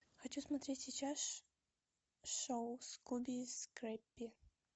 хочу смотреть сейчас шоу скуби и скрэппи